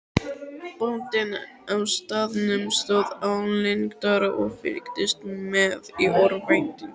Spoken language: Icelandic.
Bóndinn á staðnum stóð álengdar og fylgdist með í örvæntingu.